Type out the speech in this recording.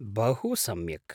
बहु सम्यक्!